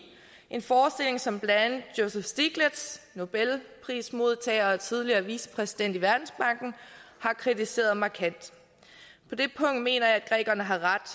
en forestilling som blandt andet joseph stiglitz nobelprismodtager og tidligere vicepræsident i verdensbanken har kritiseret markant på det punkt mener jeg at grækerne har ret